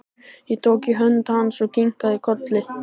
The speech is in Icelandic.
Ég tók í hönd hans og kinkaði kolli.